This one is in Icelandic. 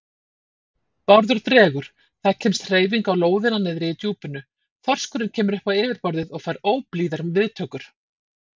Bárður dregur, það kemst hreyfing á lóðina niðri í djúpinu, þorskurinn kemur upp á yfirborðið og fær óblíðar viðtökur.